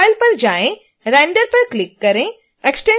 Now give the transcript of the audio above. अब file पर जाएँ और render पर क्लिक करें